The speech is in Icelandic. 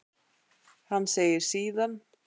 En segir síðan